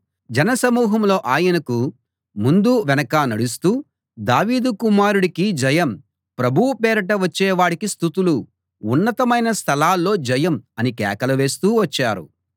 జనసమూహంలో ఆయనకు ముందూ వెనకా నడుస్తూ దావీదు కుమారుడికి జయం ప్రభువు పేరిట వచ్చేవాడికి స్తుతులు ఉన్నతమైన స్థలాల్లో జయం అని కేకలు వేస్తూ వచ్చారు